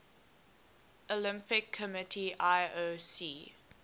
olympic committee ioc